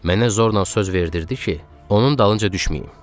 Mənə zorla söz verdirirdi ki, onun dalınca düşməyim.